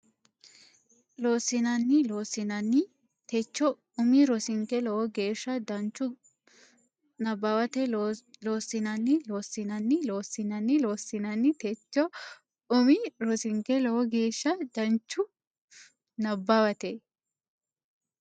Loossinanni Loossinanni techohu umi rosinke lowo geeshsha danchu nabbawate Loossinanni Loossinanni Loossinanni Loossinanni techohu umi rosinke lowo geeshsha danchu nabbawate.